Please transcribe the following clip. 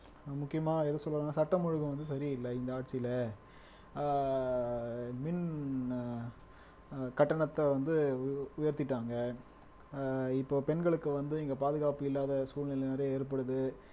முக்கியமா எது சொல்லுவாங்கன்னா சட்டம் ஒழுங்கு வந்து சரியில்லை இந்த ஆட்சியில ஆஹ் மின் அஹ் கட்டணத்தை வந்து உ உயர்த்திட்டாங்க ஆஹ் இப்ப பெண்களுக்கு வந்து இங்க பாதுகாப்பு இல்லாத சூழ்நிலை நிறைய ஏற்படுது